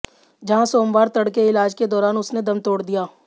जहां सोमवार तड़के इलाज के दौरान उसने दम तोड़ दिया